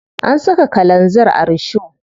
An saka kalanzir a risho.